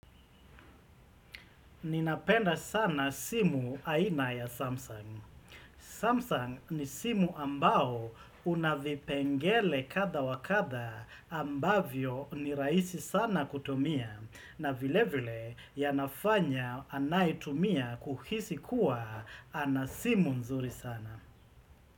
Ninapenda sana simu aina ya Samsung. Samsung ni simu ambao unavipengele kadha wa kadha ambavyo ni raisi sana kutumia na vile vile yanafanya anayetumia kuhisi kuwa ana simu nzuri sana.